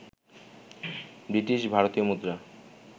বৃটিশ-ভারতীয় মুদ্রা